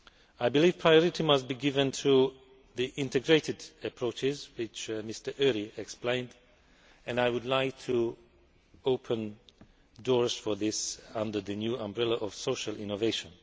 I believe that priority must be given to the integrated approaches which Mr Őry explained. I would like to open doors for this under the new umbrella of social innovation.